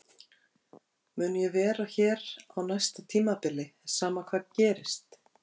Mun ég vera hér á næsta tímabili sama hvað gerist?